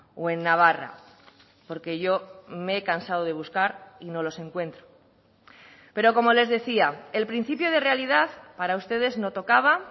o en navarra porque yo me he cansado de buscar y no los encuentro pero como les decía el principio de realidad para ustedes no tocaba